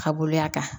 Ka boloya kan